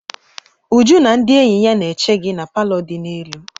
Uju na ndị enyi ya na-eche gi na palọ di n'elu.